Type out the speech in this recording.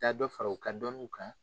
Ka dɔ fara u ka dɔnniw kan